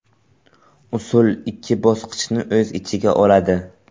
Usul ikki bosqichni o‘z ichiga oladi.